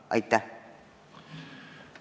Aitäh!